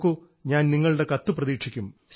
നോക്കൂ ഞാൻ നിങ്ങളുടെ കത്ത് പ്രതീക്ഷിക്കും